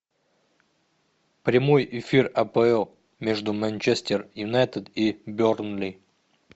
прямой эфир апл между манчестер юнайтед и бернли